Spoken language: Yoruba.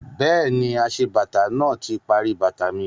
Bẹ́ẹ̀ni, aṣebàtà náà ti parí bàtà mi